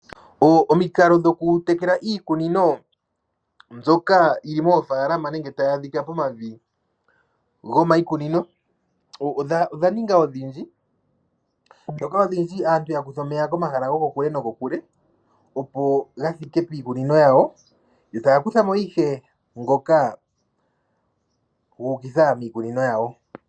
Omikalo dhokutekela iikunino mbyoka yili moofaalama nenge ngono tayi adhika momavi giikunino odha ninga odhindji. Aantu ya kutha omeya komahala gokokule nokokule, opo ga thike piikunino yawo taya kutha mo ihe ngoka guuka piikunino yawo.